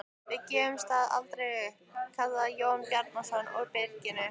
Við gefum staðinn aldrei upp, kallaði Jón Bjarnason úr byrginu.